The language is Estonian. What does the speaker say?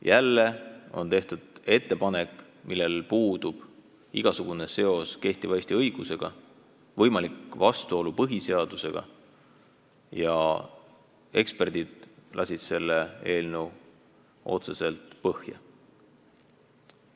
Jälle on tehtud ettepanek, millel puudub igasugune seos kehtiva Eesti õigusega, võimalik on vastuolu põhiseadusega ja eksperdid lasid selle eelnõu otseselt põhja.